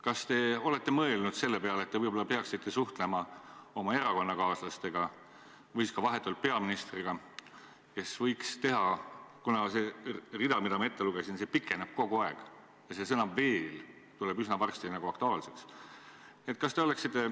Kas te olete mõelnud selle peale, et te võib-olla peaksite suhtlema oma erakonnakaaslastega või vahetult peaministriga, kuna see rida, mida ma ette lugesin, pikeneb kogu aeg ja see sõna "veel" muutub üsna aktuaalseks?